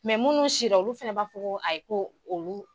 munnu sira olu fɛnɛ b'a fɔ ko ayi ko olu